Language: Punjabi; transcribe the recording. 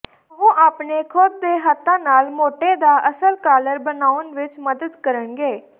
ਉਹ ਆਪਣੇ ਖੁਦ ਦੇ ਹੱਥਾਂ ਨਾਲ ਮੋਟੇ ਦਾ ਅਸਲ ਕਾਲਰ ਬਣਾਉਣ ਵਿਚ ਮਦਦ ਕਰਨਗੇ